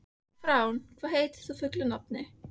Frán, hvað heitir þú fullu nafni?